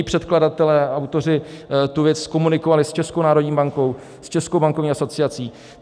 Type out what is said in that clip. I předkladatelé, autoři, tu věc komunikovali s Českou národní bankou, s Českou bankovní asociací.